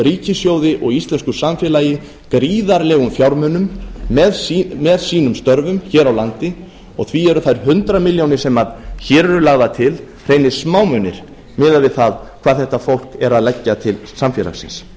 ríkissjóði og íslensku samfélagi gríðarlegum fjármunum með sínum störfum hér á landi og því eru þær hundrað milljónir sem hér eru lagðar til hreinir smámunir miðað við það hvað þetta fólk er að leggja til samfélagsins